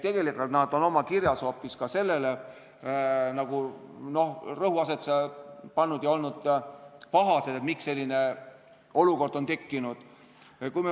Tegelikult on nad oma kirjas hoopis sellele rõhuasetuse pannud ja nad on pahased, miks selline olukord on tekkinud.